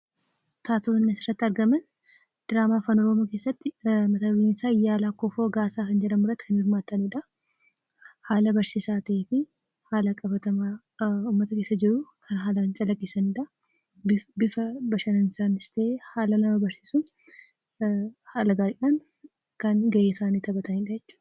Taatonni asirratti argaman, diraamaa Afaan oromoo keessatti Iyyaala Kofoo Gaasaa kan jedhamu irratti kan hirmaatanidha. Haala barsiisaa ta'ee fi haala qabatamaa uummata keessa jiru kan haalaan calaqqisiisanidha. Bifa bashannansiisaanis ta'ee haala nama barsiisuun, haala gaariidhaan kan gahee isaanii taphatanidha jechuudha.